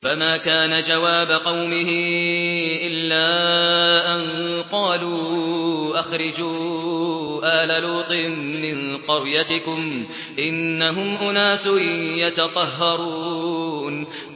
۞ فَمَا كَانَ جَوَابَ قَوْمِهِ إِلَّا أَن قَالُوا أَخْرِجُوا آلَ لُوطٍ مِّن قَرْيَتِكُمْ ۖ إِنَّهُمْ أُنَاسٌ يَتَطَهَّرُونَ